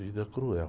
Vida cruel.